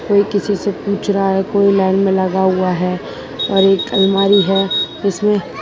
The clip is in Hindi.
कोई किसी से पूछ रहा है कोई लाइन में लगा हुआ है और एक अलमारी है जिसमें --